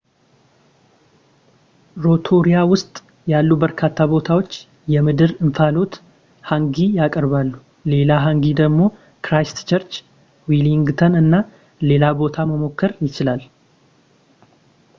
ሮቶሩያ ውስጥ ያሉ በርካታ ቦታዎች የምድር እንፋሎት ሃንጊ ያቀርባሉ ሌላ ሃንጊ ደግሞ ክራይስትቸርች ዌሊንግተን እና ሌላ ቦታ መሞከር ይችላል